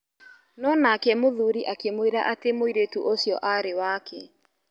No nake mũthuri akĩmwĩra atĩ mwĩirĩrtu ũcio arĩ wake.